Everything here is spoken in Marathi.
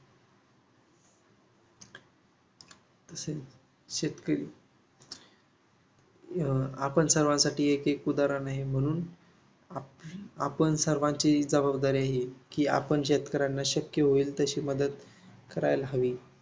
शेतकरी अं आपण सर्वांसाठी एक उदाहरण आहे. म्हणून आपण सर्वांची जबाबदारी आहे की आपण शेतकऱ्यांना शक्य होईल तशी मदत करायला हवी.